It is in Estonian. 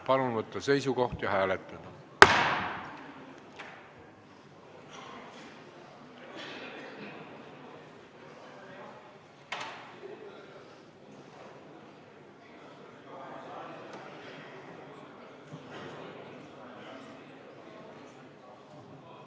Palun võtta seisukoht ja hääletada!